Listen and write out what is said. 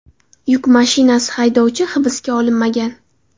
Yuk mashinasi haydovchi hibsga olinmagan.